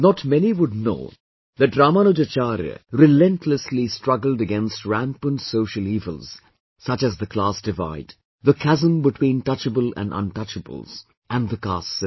Not many would know that Ramanujacharya relentlessly struggled against rampant social evils such as the class divide, the chasm between touchable and untouchables and the caste system